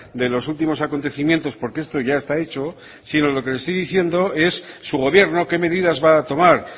de los últimos acontecimientos porque esto ya está hecho sino lo que le estoy diciendo es su gobierno qué medidas va a tomar